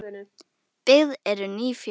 Byggð eru ný fjós.